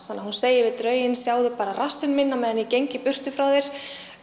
þannig að hún segir við drauginn sjáðu bara rassinn minn á meðan ég geng í burtu frá þér